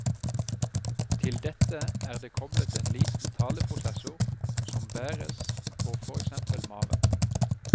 Til dette er det koblet en liten taleprosessor, som bæres på for eksempel maven.